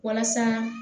Walasa